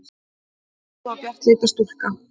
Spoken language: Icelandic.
Sú góða og bjartleita stúlka.